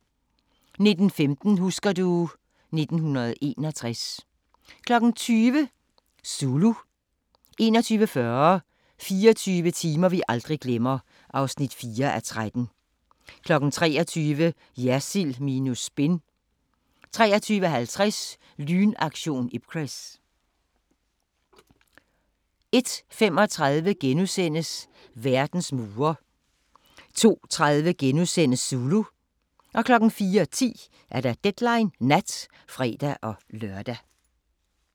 19:15: Husker du ... 1961 20:00: Zulu 21:40: 24 timer vi aldrig glemmer (4:13) 23:00: Jersild minus spin 23:50: Lynaktion Ipcress 01:35: Verdens mure * 02:30: Zulu * 04:10: Deadline Nat (fre-lør)